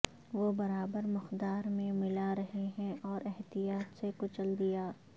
وہ برابر مقدار میں ملا رہے ہیں اور احتیاط سے کچل دیا